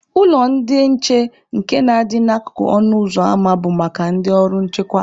Ụlọ ndị nche nke na-adị n'akụkụ ọnụ ụzọ ama bụ maka ndị ọrụ nchekwa.